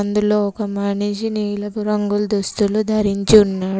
అందులో ఒక మనిషి నీలపు రంగుల్ దుస్తులు ధరించి ఉన్నాడు.